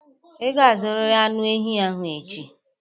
Ị ga-azụrịrị anụ ehi ahụ echi!